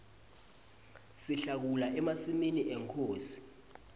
sihlakula emasimi enkhosi